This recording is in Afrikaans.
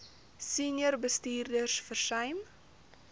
senior bestuurders versuim